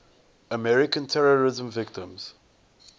american terrorism victims